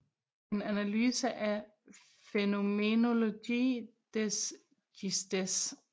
En analyse af Phänomenologie des Geistes